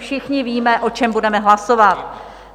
Všichni víme, o čem budeme hlasovat.